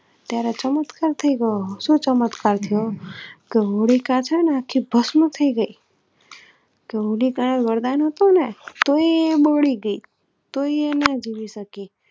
ત્યારે ચમત્કાર થયી ગયો સુ ચમત્કાર થયો જે હોલિકા છેને એ આખી ભસ્મ થયી ગયી, એ હોલિકા ને વરદાન હતુંને તોય એ બાળી ગયી